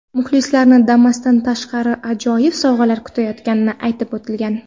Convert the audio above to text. Muxlislarni Damas’dan tashqari ajoyib sovg‘alar kutayotgani aytib o‘tilgan.